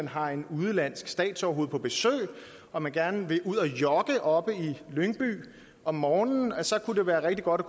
har et udenlandsk statsoverhoved på besøg og man gerne vil ud at jogge oppe i lyngby om morgenen kunne det være rigtig godt